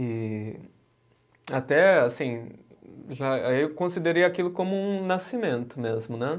E até assim, já eu considerei aquilo como um nascimento mesmo, né?